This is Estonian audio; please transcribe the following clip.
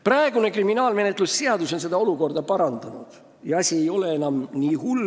Praegune kriminaalmenetluse seadustik on seda olukorda parandanud ja asi ei ole enam nii hull.